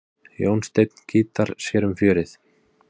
Jónsteinn gítar sér um fjörið.